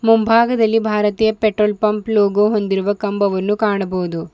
ಮುಂಭಾಗದಲ್ಲಿ ಭಾರತೀಯ petrol pump logo ಹೊಂದಿರುವ ಕಂಬವನ್ನು ಕಾಣಬಹುದು.